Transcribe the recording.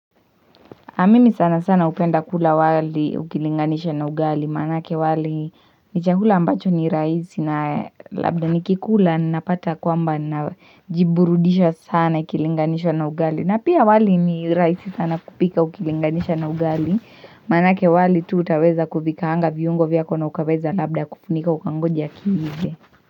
Na mimi sana sana hupenda kula wali ukilinganisha na ugali, maanake wali ni chakula ambacho ni rahisi na labda ni kikula napata kwamba najiburudisha sana ikilinganishwa na ugali. Na pia wali ni rahisi sana kupika ukilinganisha na ugali, manake wali tu utaweza kuviikaanga viungo vyako na ukaweza labda kufunika ukangoja kiive.